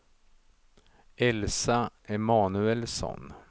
Elsa Emanuelsson